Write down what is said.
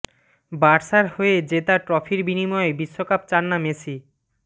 বার্সার হয়ে জেতা ট্রফির বিনিময়ে বিশ্বকাপ চান না মেসি